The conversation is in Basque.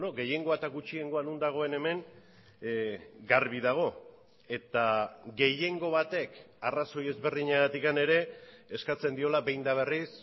gehiengoa eta gutxiengoa non dagoen hemen garbi dago eta gehiengo batek arrazoi ezberdinagatik ere eskatzen diola behin eta berriz